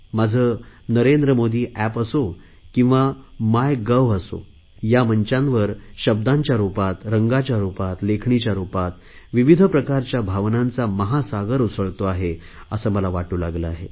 माझे नरेंद्र मोदी एप असो किंवा माय गव्ह असो या मंचांवर शब्दांच्या रुपात रंगाच्या रुपात लेखणीच्या रुपात विविध प्रकारच्या भावनांचा महासागर उसळतो आहे असे मला वाटू लागले आहे